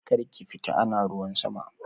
Karki fita ana ruwan sama!